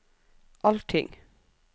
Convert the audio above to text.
allting